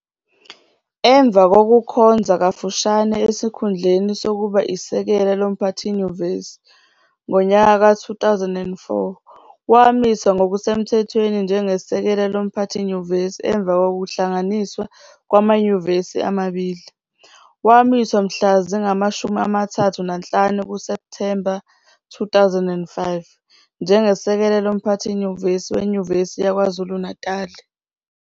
Emva kokukhonza kafushane esikhundleni sokuba isekela loMphathinyuvesi, ngowezi-2004, wamiswa ngokusemthethweni njengesekela loMphathinyuvesi emva kokuhlanganiswa kwamanyuvesi amabili. Wamiswa mhla zingamashumi amathathu nanhlanu kuSepthemba 2005, njengesekela loMphathinyuvesi weNyuvesi yaKwazulu Natali.